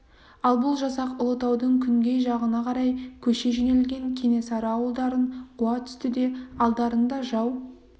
ал бұл жасақ ұлытаудың күнгей жағына қарай көше жөнелген кенесары ауылдарын қуа түсті де алдарында жау